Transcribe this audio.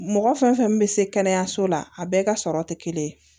Mɔgɔ fɛn fɛn min bɛ se kɛnɛyaso la a bɛɛ ka sɔrɔ tɛ kelen ye